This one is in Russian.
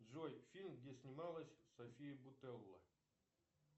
джой фильм где снималась софия бутелла